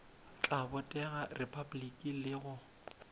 tla botegela repabliki le go